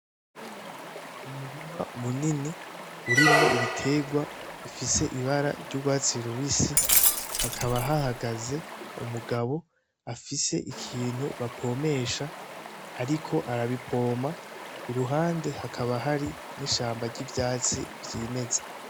Mumurima munini urimwo ibiterwa ifise ibara ry'urwatsi rubisi hakaba hahagaze umugabo afise ikintu bapomesha, ariko arabipoma i ruhande hakaba hari n'ishamba ry'ivyatsi vy'imeza.